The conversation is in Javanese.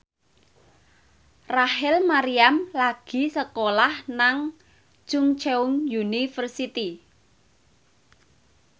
Rachel Maryam lagi sekolah nang Chungceong University